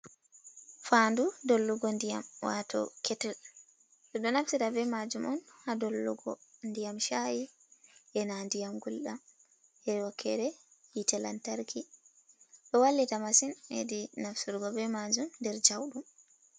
Fandu dollugo ndiyam, wato ketel, ɓeɗo naftira ɓe ma jum on ha dollugo ndiyam shayi ena ndiyam guldam e wokere hite lantarki do wallita masin hedi nafturgo be majum nder jau ɗum.